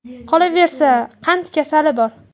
Qolaversa, qand kasali bor.